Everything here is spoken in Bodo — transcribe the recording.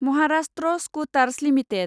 Maharashtra scooters limited